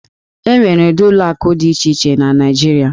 E nwere ụdị ụlọ akụ dị iche iche na Naịjirịa.